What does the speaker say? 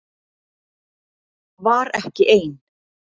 Var ekki ein